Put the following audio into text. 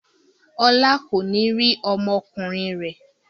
Ọlá kò ní rí ọmọkùnrin rẹ̀.